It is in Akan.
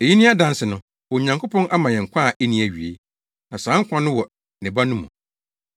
Eyi ne adanse no: Onyankopɔn ama yɛn nkwa a enni awiei; na saa nkwa no wɔ ne Ba no mu.